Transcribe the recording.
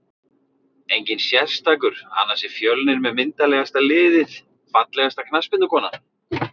Enginn sérstakur annars er fjölnir með myndarlegasta liðið Fallegasta knattspyrnukonan?